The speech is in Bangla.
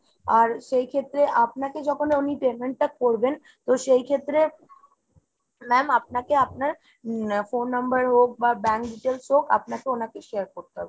আর সেইক্ষেত্রে আপনাকে যখন উনি payment টা করবেন তো সেইক্ষেত্রে ma'am আপনাকে আপনার উম phone number হোক বা bank details হোক আপনাকে ওনাকে share করতে হবে।